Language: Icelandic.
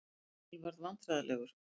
Emil varð vandræðalegur.